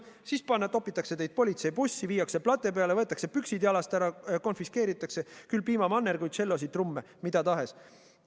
Siis topitakse teid politseibussi, viiakse plate peale, võetakse püksid jalast ära, konfiskeeritakse piimamannerguid, tšellosid, trumme – mida tahes.